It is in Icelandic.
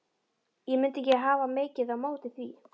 Ég mundi ekki hafa mikið á móti því.